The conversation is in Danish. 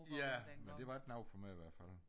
Ja men det var ikkke noget for mig i hvert fald